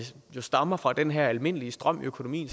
stammer fra den her almindelige strøm i økonomien